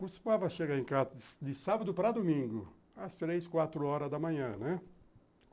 Costumava chegar em casa de sábado para domingo, às três, quatro horas da manhã, né?